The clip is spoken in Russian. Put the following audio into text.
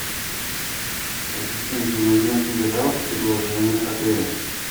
ассистент мне нужна книга жалоб и предложений отеля